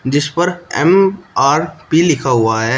जिस पर एम_आर_पी लिखा हुआ है।